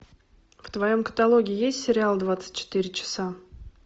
в твоем каталоге есть сериал двадцать четыре часа